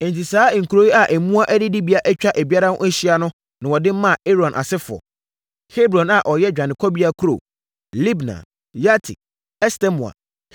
Enti, saa nkuro yi a mmoa adidibea atwa ebiara ho ahyia na wɔde maa Aaron asefoɔ: Hebron a ɛyɛ dwanekɔbea kuro, Libna, Yatir, Estemoa,